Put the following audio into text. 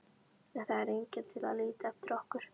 En það er enginn til að líta eftir okkur.